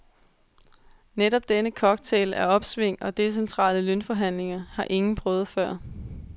Netop denne cocktail af opsving og decentrale lønforhandlinger har ingen prøvet før.